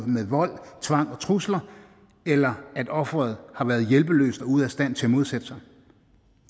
med vold tvang og trusler eller at offeret har været hjælpeløst og ude at stand til at modsætte sig